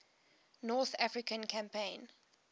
north african campaign